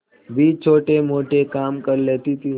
भी छोटेमोटे काम कर लेती थी